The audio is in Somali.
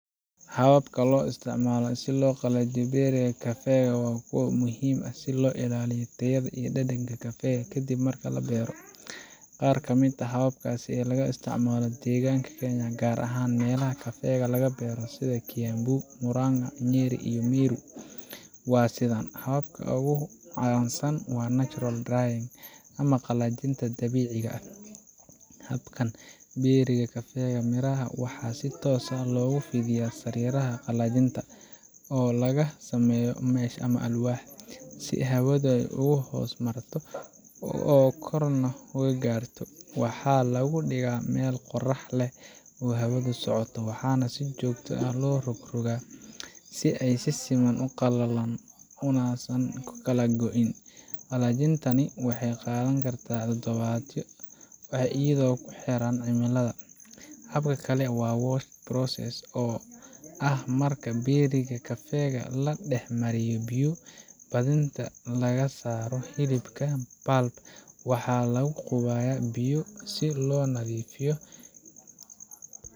Hababka loo isticmaalo si loo qalajiyo berry kafeega waa kuwo muhiim ah si loo ilaaliyo tayada iyo dhadhanka kafeega ka dib marka la beero. Qaar ka mid ah hababkaas ee laga isticmaalo deegaanada Kenya gaar ahaan meelaha kafeega laga beero sida Kiambu, Murang’a, Nyeri iyo Meru waa sidaan: Habka ugu caansan waa Natural drying ama qalajinta dabiiciga ah. Habkan, berry-ga kafeega miraha waxaa si toos ah loogu fidiyaa sariiraha qalajinta oo laga sameeyo mesh ama alwaax, si hawada ay uga hoos marto oo korna uga gaarto. Waxaa lagu dhigaa meel qorax leh oo hawadu socoto, waxaana si joogto ah loo rogrogtaa si ay si siman u qalalaan unausan ukala go'in. Qalajintani waxay qaadan kartaa toddobaadyo, iyadoo ku xiran cimillada. Hab kale waa Washed process, oo ah marka berry-ga kafeega la dhex mariyo biyo, kadibna laga saaro hilibkiisa pulp, waxaana lagu qubayaa biyo si loo nadiifiyo